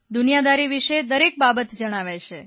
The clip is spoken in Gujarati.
દુનિયાદારી વિષે દરેક બાબત જણાવે છે